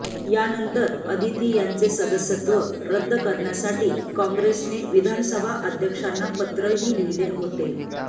यानंतर अदिती यांचे सदस्यत्व रद्द करण्यासाठी काँग्रेसने विधानसभा अध्यक्षांना पत्रही लिहिले होते